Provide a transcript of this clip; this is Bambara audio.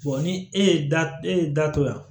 ni e ye da e ye datugu yan